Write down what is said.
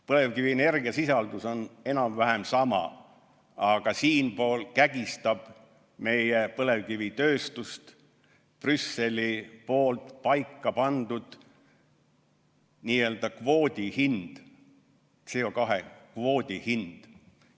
Põlevkivi energiasisaldus on enam-vähem sama, aga siinpool kägistab meie põlevkivitööstust Brüsseli paika pandud n-ö kvoodi hind, CO2 kvoodi hind.